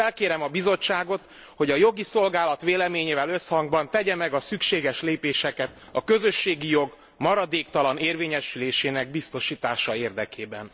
Felkérem a Bizottságot, hogy a Jogi Szolgálat véleményével összhangban tegye meg a szükséges lépéseket a közösségi jog maradéktalan érvényesülésének biztosítása érdekében.